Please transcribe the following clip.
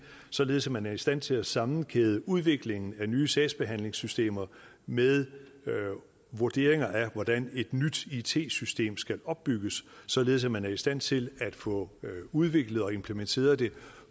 således at man er i stand til at sammenkæde udviklingen af nye sagsbehandlingssystemer med vurderinger af hvordan et nyt it system skal opbygges således at man er i stand til at få udviklet og implementeret det